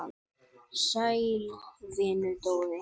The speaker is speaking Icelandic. Sæll vinur, Dóri!